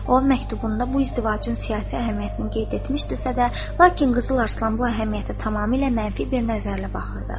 O, məktubunda bu izdivacın siyasi əhəmiyyətini qeyd etmişdisə də, lakin Qızıl Arslan bu əhəmiyyətə tamamilə mənfi bir nəzərlə baxırdı.